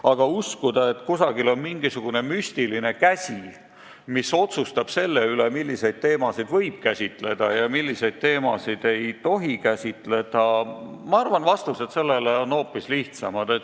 Aga kui usutakse, et kusagil on mingisugune müstiline käsi, mis otsustab selle üle, milliseid teemasid võib käsitleda ja milliseid teemasid ei tohi käsitleda, siis mina arvan, et vastused on hoopis lihtsamad.